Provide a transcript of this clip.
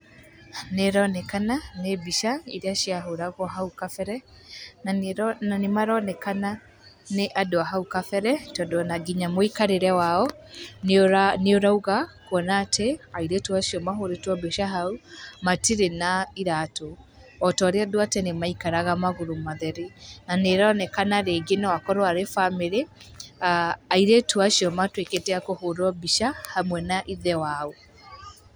Nĩĩronekana nĩ mbica irĩa ciahoragwo hau kabere, na nĩmaroekana nĩ andũ a hau kabere tondũ ona nginya mũikarĩre wao nĩ ũrauga, kuona atĩ airĩtu acio mahũrĩtwo mbica hau matirĩ na iratũ, o ta ũrĩa andũ a tene maikaraga magũrũ matheri, na nĩĩronekana rĩngĩ no akorwo arĩ bamĩrĩ, aah airĩtu acio matuĩkĩte akũhũrwo mbica hamwe na ithe wao.